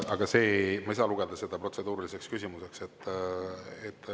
Aga ma ei saa lugeda seda protseduuriliseks küsimuseks.